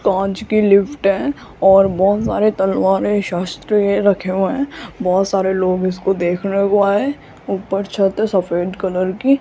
कांच की लिफ्ट है और बहोत सारे तलवारे शास्त्र भी रखे हुए हैं बहोत सारे लोग इसको देखने को आये है ऊपर छत है सफेद कलर की --